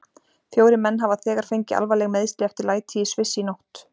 Fjórir menn hafa þegar fengið alvarleg meiðsli eftir læti í Sviss í nótt.